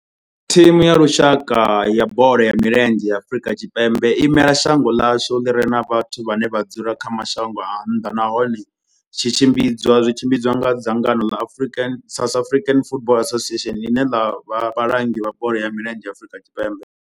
Thimu ya lushaka ya bola ya milenzhe ya Afrika Tshipembe i imela shango ḽa hashu ḽi re na vhathu vhane vha dzula kha mashango a nnḓa nahone tshi tshimbidzwa nga dzangano ḽa South African Football Association, ḽine ḽa vha vhalangi vha bola ya milenzhe Afrika Tshipembe.